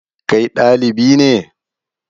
Kai ɗalibi ne?